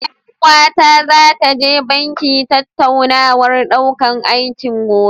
Ƴar uwata zata je banki tattaunawar ɗaukan aiki, gobe.